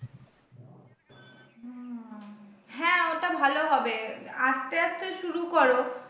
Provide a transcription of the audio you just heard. হ্যাঁ ওটা ভালো হবে, আস্তে আস্তে শুরু করো